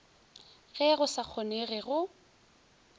ge go sa kgonege go